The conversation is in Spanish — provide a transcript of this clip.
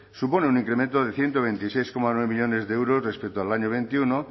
supone un incremento de ciento veintiséis coma nueve millónes de euros respecto al año veintiuno